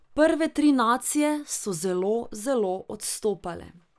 Prve tri nacije so zelo zelo odstopale.